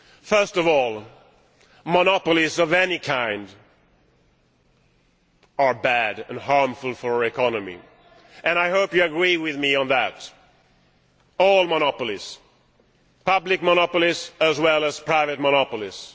First of all, monopolies of any kind are bad and harmful to the economy I hope you agree with me on that all monopolies, public monopolies as well as private monopolies.